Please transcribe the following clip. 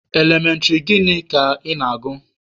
Elementịrị gịnị ka ị na-agụ?